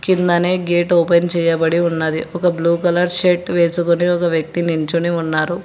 కిందనే gate open చేయబడి ఉన్నది ఒక బ్లూ కలర్ షర్ట్ వేసుకొని ఒక వ్యక్తి నించొని ఉన్నారు.